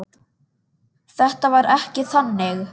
Þetta var ekki þannig.